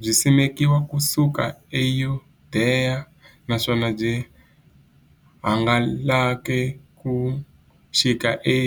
Byisimekiwe ku suka e Yudeya, naswona byi hangalake ku xika e